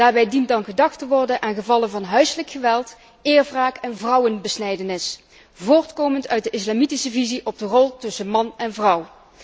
Daarbij dient dan gedacht te worden aan gevallen van huiselijk geweld, eerwraak en vrouwenbesnijdenis, voortkomend uit de islamitische visie op de rol tussen man en vrouw.